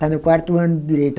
Está no quarto ano de direito.